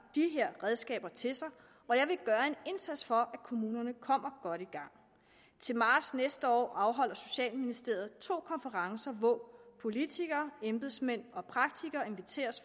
de her redskaber til sig og jeg vil gøre en indsats for at kommunerne kommer godt i gang til marts næste år afholder socialministeriet to konferencer hvor politikere embedsmænd og praktikere inviteres